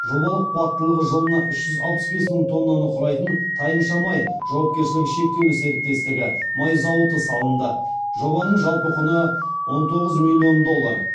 жобалық қуаттылығы жылына үш жүз алпыс бес мың тоннаны құрайтын тайынша май жауапкершілігі шектеулі серіктестігі май зауыты салынды жобаның жалпы құны он тоғыз миллион доллар